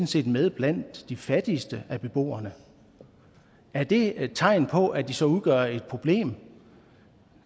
set med blandt de fattigste af beboerne er det tegn på at de så udgør et problem